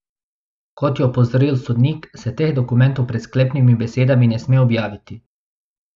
Kot je opozoril sodnik, se teh dokumentov pred sklepnimi besedami ne sme objaviti.